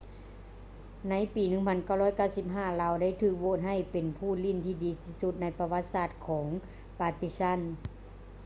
ໃນປີ 1995 ລາວໄດ້ຖືກໂຫວດໃຫ້ເປັນຜູ້ຫຼິ້ນທີ່ດີທີ່ສຸດໃນປະຫວັດສາດຂອງ partizan